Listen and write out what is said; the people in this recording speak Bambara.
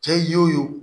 Cɛ ye wo